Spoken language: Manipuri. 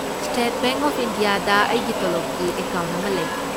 ꯁ꯭ꯇꯦꯠ ꯕꯦꯡꯛ ꯑꯣꯐ ꯏꯟꯗꯤꯌꯥꯗ ꯑꯩꯒꯤ ꯇꯣꯂꯣꯕꯀꯤ ꯑꯦꯀꯥꯎꯟꯠ ꯑꯃ ꯂꯩ꯫